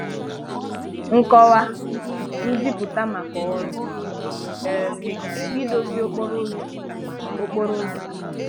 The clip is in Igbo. Nkọwa/Nziputa maka ọrụ um idozi okporo ụzọ. okporo ụzọ.